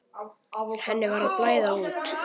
Henni var að blæða út.